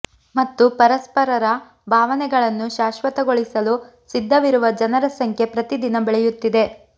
ಮತ್ತು ಪರಸ್ಪರರ ಭಾವನೆಗಳನ್ನು ಶಾಶ್ವತಗೊಳಿಸಲು ಸಿದ್ಧವಿರುವ ಜನರ ಸಂಖ್ಯೆ ಪ್ರತಿದಿನ ಬೆಳೆಯುತ್ತಿದೆ